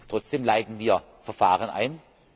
Trotzdem leiten wir Verfahren ein.